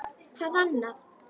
Hvað annað?!